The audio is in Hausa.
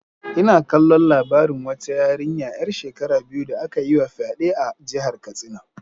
Ina kallon labarin wata yarinya ‘yar shekara biyu da aka yi wa fyade a jihar Katsina.